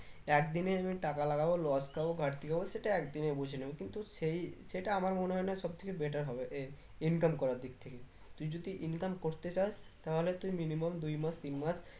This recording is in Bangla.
একদিনে আমি টাকা লাগাবো loss খাবো ঘাড়তি হবো সেটা একদিনেই বুঝে নেবো কিন্তু সেই সেটা আমার মনে হয়ে না সব থেকে better হবে এর income করার দিক থেকে তুই যদি income করতে চাস তাহলে তুই minimum দুই মাস তিন মাস